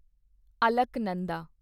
Alaknanda